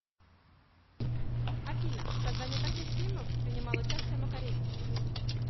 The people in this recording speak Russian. афина в создании каких фильмов принимал участие макаревич